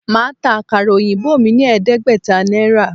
Màá ta àkàrà òyìnbó mí ní ẹ̀ẹ́dẹ́gbẹ̀ta Náírà